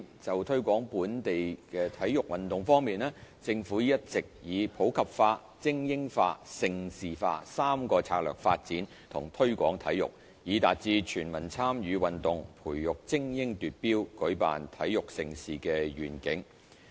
就推廣本地體育運動方面，政府一直以普及化、精英化、盛事化三大策略發展和推廣體育，以達至"全民參與運動，培訓精英奪標，舉辦體育盛事"的願景。